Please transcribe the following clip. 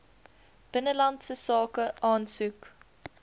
binnelandse sake aansoek